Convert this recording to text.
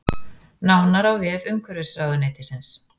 Nánar á vef umhverfisráðuneytisins